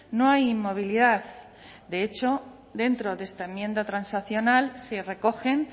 no hay inmovilidad de hecho dentro de esta enmienda transaccional se recogen